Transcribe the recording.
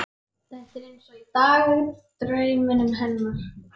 Þetta er eins og í dagdraumunum hennar.